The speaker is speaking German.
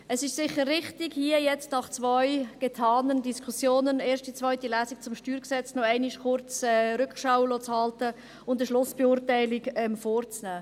Es ist sicher richtig, hier nun nach zwei getanen Diskussionen – nach der ersten und zweiten Lesung zum StG – noch einmal kurz Rückschau zu halten und eine Schlussbeurteilung vorzunehmen.